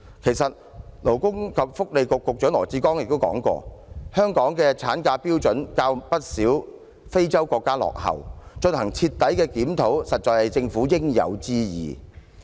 其實，勞工及福利局局長羅致光也說過，香港的產假標準較不少非洲國家落後，進行徹底檢討實在是政府應有之義。